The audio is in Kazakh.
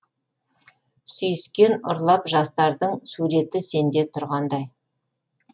сүйіскен ұрлап жастардың суреті сенде тұрғандай